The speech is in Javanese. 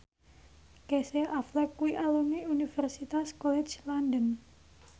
Casey Affleck kuwi alumni Universitas College London